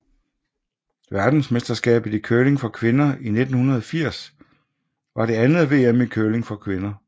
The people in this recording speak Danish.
Verdensmesterskabet i curling for kvinder 1980 var det andet VM i curling for kvinder